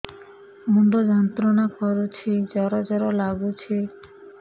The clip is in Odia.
ମୁଣ୍ଡ ଯନ୍ତ୍ରଣା କରୁଛି ଜର ଜର ଲାଗୁଛି